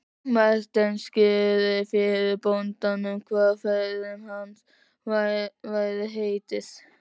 Marteinn skýrði fyrir bóndanum hvert ferð hans væri heitið.